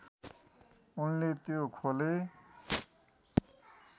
उनले त्यो खोले